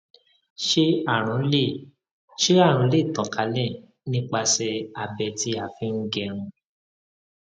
ṣé àrùn lè ṣé àrùn lè tàn kálẹ nípasẹ abẹ tí a fi ń gẹrun